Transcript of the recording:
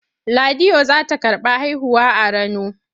Ladiyo za ta karɓi haihuwa a Rano.